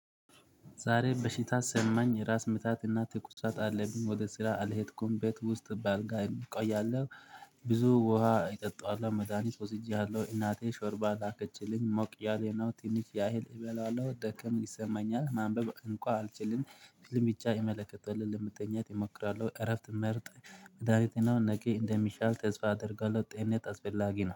ዛሬ በሽታ ሰማኝ ራስ ምታትና ትኩሳት አለብኝ ወደ ስራ አልሄድኩም ቤት ውስጥ ባልጋ እቆያለው። ብዙ ውሃ እጠጣዋለው መድሃኒት ወስጄያለው እናቴ ሾርባ ላከችልኝ ሞቅ ያሌነው ትንሽ ያህል እበላለው ደከም ይሰማኛል ማንበብ እንኳ አልችልም። ፊልም ብቻ ይመለከታል ለመተኛት እሞክራለው እረፍት መርጥ። መድሃኒትን ነቂ እንደሚሻል ተስፋ አደርጋለው ጤንነት አስፈላጊ ነው